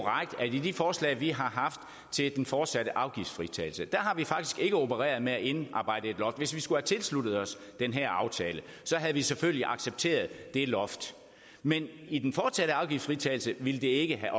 i de forslag vi har haft til den fortsatte afgiftsfritagelse faktisk ikke har opereret med at indarbejde et loft hvis vi skulle have tilsluttet os den her aftale havde vi selvfølgelig accepteret det loft men i den fortsatte afgiftsfritagelse ville det ikke have